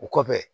O kɔfɛ